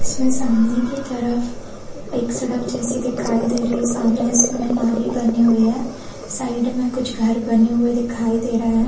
इसमें सामने की तरफ एक सड़क जैसे दिखाई दे रही है सामने इसमें नाली बानी हुई है साइड में कुछ घर बने हुए दिखाई दे रही है।